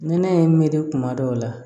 Nɛnɛ ye n me de kuma dɔw la